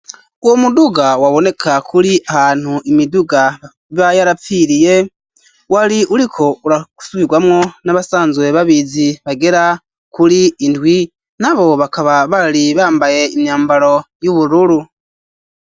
Uwo muduga waboneka kuri ahantu imiduga iba yarapfiriye ,wari uriko urasubirwamwo n'abasanzwe babizi bagera kuri indwi ,nabo bakaba bari bambaye imyambaro y'ubururu.